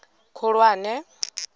khulwane